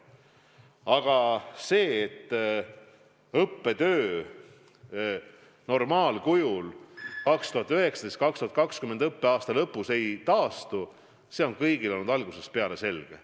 Aga see, et õppetöö normaalkujul 2019/2020. õppeaasta lõpus ei taastu, on kõigile olnud algusest peale selge.